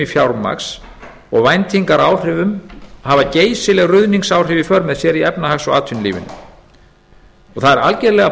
fjármagns og væntingaáhrifum hafa geysileg ruðningsáhrif í för með sér í efnahags og atvinnulífinu það er algerlega